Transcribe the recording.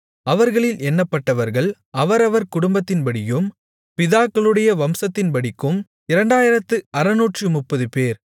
அவர்களில் எண்ணப்பட்டவர்கள் அவரவர் குடும்பத்தின்படியும் பிதாக்களுடைய வம்சத்தின்படிக்கும் 2630 பேர்